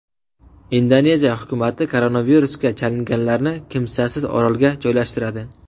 Indoneziya hukumati koronavirusga chalinganlarni kimsasiz orolga joylashtiradi.